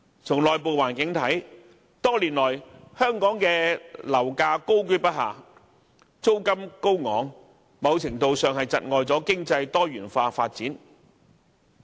從內部環境來看，多年來，香港樓價高踞不下，租金高昂，某程度上窒礙了經濟方面的多元化發展。